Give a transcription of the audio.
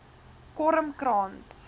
kormkrans